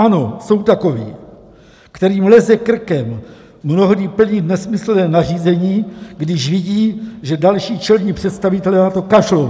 Ano, jsou takoví, kterým leze krkem mnohdy plnit nesmyslná nařízení, když vidí, že další čelní představitelé na to kašlou.